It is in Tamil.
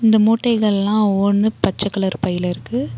இந்த மூட்டைகள்லா ஒவ்வொன்னு பச்ச கலர் பைல இருக்கு.